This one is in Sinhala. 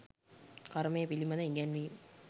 කර්මය පිළිබඳ ඉගැන්වීම්